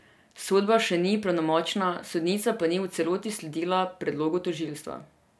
Sodba še ni pravnomočna, sodnica pa ni v celoti sledila predlogu tožilstva.